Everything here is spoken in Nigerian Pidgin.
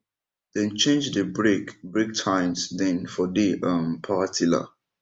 dem change dey break break tines dem for dey um power tiller